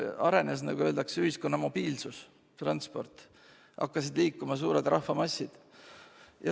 Arenes, nagu öeldakse, ühiskonna mobiilsus, transport, hakkasid liikuma suured rahvamassid.